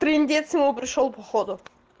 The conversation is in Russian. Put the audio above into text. индейцы майя прошёл по ходу